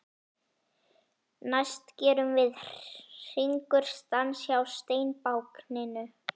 Næst gerum við Hringur stans hjá steinbákninu.